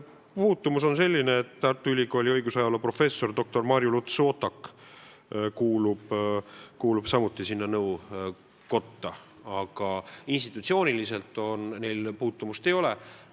Puutumus on selline, et Tartu Ülikooli õiguse ajaloo professor doktor Marju Luts-Sootak kuulub samuti sinna nõukotta, aga institutsiooniliselt neil puutumust ei ole.